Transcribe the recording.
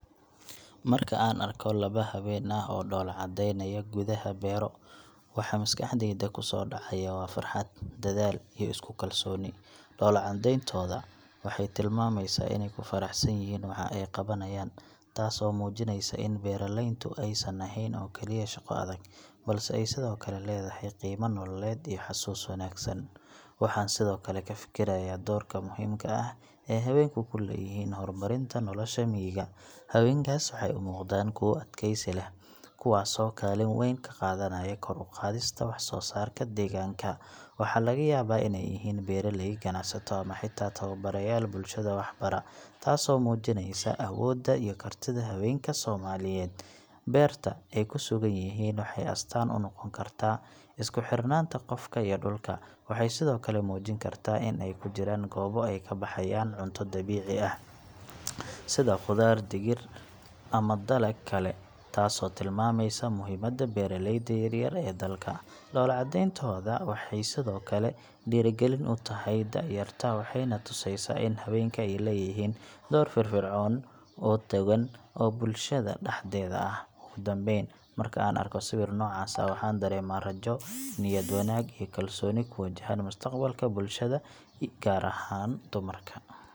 Marka aan arko laba haween ah oo dhoolla-caddeynaya gudaha beero, waxa maskaxdayda kusoo dhacaya waa farxad, dadaal iyo isku kalsooni. Dhoolla-caddayntooda waxay tilmaamaysaa inay ku faraxsan yihiin waxa ay qabanayaan, taasoo muujinaysa in beeraleyntu aysan ahayn oo kaliya shaqo adag, balse ay sidoo kale leedahay qiime nololeed iyo xasuus wanaagsan. Waxaan sidoo kale ka fikirayaa doorka muhiimka ah ee haweenku ku leeyihiin horumarinta nolosha miyiga. Haweenkaas waxay u muuqdaan kuwo adkaysi leh, kuwaasoo kaalin weyn ka qaadanaya kor u qaadista wax soo saarka deegaanka. Waxaa laga yaabaa inay yihiin beeraley, ganacsato, ama xitaa tababarayaal bulshada wax bara taas oo muujinaysa awoodda iyo kartida haweenka Soomaaliyeed. Beerta ay ku sugan yihiin waxay astaan u noqon kartaa isku xirnaanta qofka iyo dhulka. Waxay sidoo kale muujin kartaa in ay ku jiraan goobo ay ka baxayaan cunto dabiici ah, sida khudaar, digir, ama dalag kale, taasoo tilmaamaysa muhiimadda beeraleyda yar-yar ee dalka. Dhoolla-caddayntooda waxay sidoo kale dhiirrigelin u tahay da’yarta, waxayna tusinaysaa in haweenku ay leeyihiin door firfircoon oo togan oo bulshada dhexdeeda ah. Ugu dambeyn, marka aan arko sawir noocaas ah, waxaan dareemaa rajo, niyad wanaag, iyo kalsooni ku wajahan mustaqbalka bulshada beeraleyda, gaar ahaan dumarka.